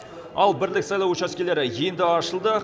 ал бірлік сайлау учаскелері енді ашылды